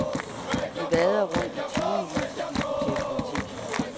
De vader rundt i timevis og diskuterer politik.